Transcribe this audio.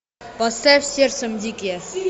поставь сердцем дикие